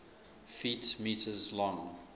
ft m long